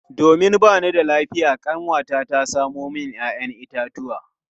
Domin ba ni da lafiya kanwata ta samo min 'ya'yan itatuwa.